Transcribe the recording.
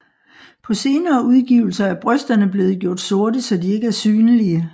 På senere udgivelser er brysterne blev gjort sorte så de ikke er synlige